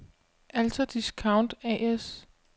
Alta Discount A/S